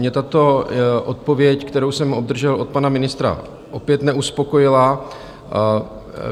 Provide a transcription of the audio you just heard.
Mě tato odpověď, kterou jsem obdržel od pana ministra, opět neuspokojila.